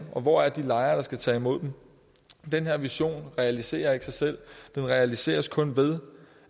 hvor er de lejre der skal tage imod dem den vision realiserer ikke sig selv den realiseres kun ved